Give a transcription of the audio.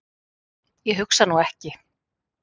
Ég hugsa nú ekki.